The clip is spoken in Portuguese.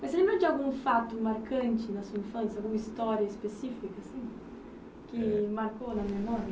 Mas você lembra de algum fato marcante na sua infância, alguma história específica assim que marcou na memória?